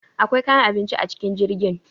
Akwai kayan abinci a cikin jirgin.